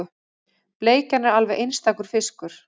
Bleikjan er alveg einstakur fiskur